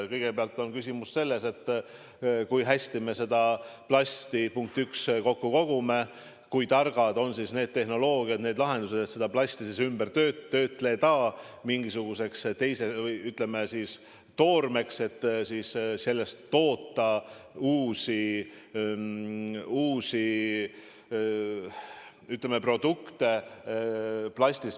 Kõigepealt on küsimus selles, kui hästi me seda plasti, punkt üks, kokku kogume, kui targad on need tehnoloogiad, need lahendused, et plasti töödelda mingisuguseks toormeks ja sellest toota uusi produkte.